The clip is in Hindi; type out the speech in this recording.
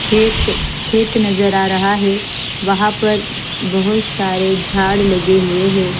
खेत खेत नज़र आ रहा है वहा पर बोहोत सारे जाड लगे हुए है।